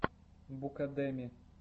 букадеми